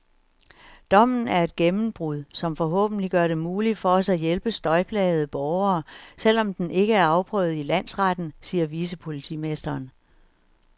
Dommen er et gennembrud, som forhåbentlig gør det muligt for os at hjælpe støjplagede borgere, selv om den ikke er afprøvet i landsretten, siger vicepolitimesteren.